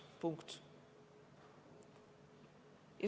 Punkt.